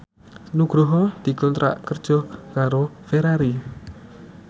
Nugroho dikontrak kerja karo Ferrari